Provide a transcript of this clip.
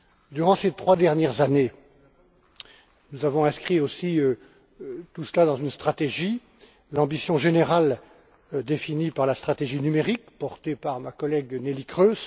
Durant ces trois dernières années, nous avons inscrit aussi tout cela dans une stratégie l'ambition générale définie par la stratégie numérique, portée par ma collègue, Nellie Kroes